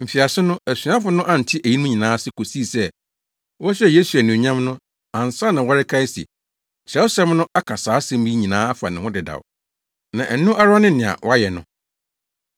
Mfiase no, asuafo no ante eyinom nyinaa ase kosii sɛ wɔhyɛɛ Yesu anuonyam no ansa na wɔrekae se, Kyerɛwsɛm no aka saa asɛm yi nyinaa afa ne ho dedaw, na ɛno ara ne nea wɔayɛ no.